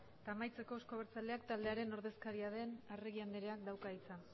amaitzeko euzko abertzaleak taldearen ordezkaria den arregi andreak dauka hitza